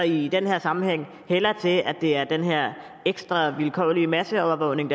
i den her sammenhæng hælder til at det er den her ekstra vilkårlige masseovervågning